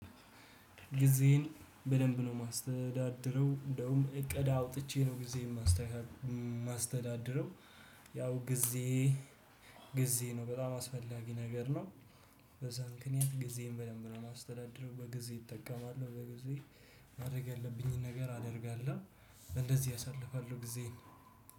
ጊዜን በደንብ ነው የማስተዳድረው እንደውም እቅድ አውጥቼ ነው ጊዜ የማስተዳድረው። ያው ጊዜ ጊዜ ነው በጣም አስፈላጊ ነገር ነው። በዛ ምክንያት ጊዜን በደንብ ነው የማስተዳድረው በጊዜ እጠቀማለሁ በጊዜ ማድረግ ያለብኝን ነገር አደርጋለሁ። እንደዚህ አሳልፋለሁ ጊዜን